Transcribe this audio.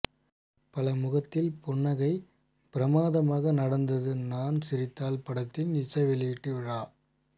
பல முகத்தில் புன்னகை பிரமாதமாக நடந்தது நான் சிரித்தால் படத்தின் இசை வெளியீட்டு விழா